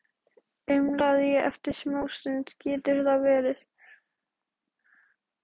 umlaði ég eftir smástund: Getur það verið?